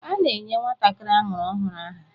A na-enye nwatakịrị amụrụ ọhụrụ aha